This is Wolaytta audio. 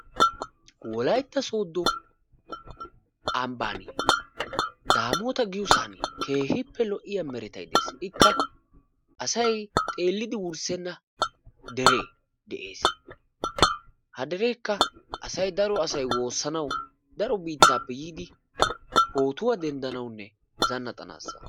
Wolaytta sooddo ambbaan daammoota giyosan keehippe lo'iya meretay dees, ikka asay xeeliddi wurssenna deree de'ees, ha derekka asay daro asay woossanawu daro biittaappe yiidi pootuwaa denddanawunne zanaxxanaassa.